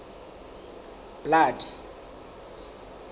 blood